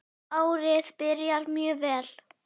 Árið byrjar mjög vel.